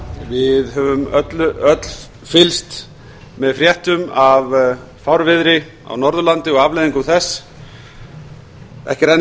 við höfum öll fylgst með fréttum af fárviðri á norðurlandi og afleiðingum þess ekki er enn